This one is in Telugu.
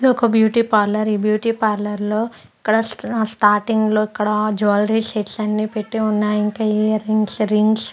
ఇదొక బ్యూటీ పార్లర్ . ఈ బ్యూటీ పార్లర్ లో ఇక్కడ స స్టార్టింగ్ లో ఇక్కడ జ్యువలరీ సెట్స్ అన్ని పెట్టి ఉన్నాయి ఇంకా ఇయర్ రింగ్స్ రింగ్స్ --